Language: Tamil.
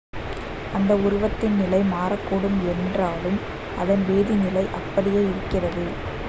அதன் உருவத்தின் நிலை மாறக்கூடும் என்றாலும் அதன் வேதிநிலை அப்படியே இருக்கிறது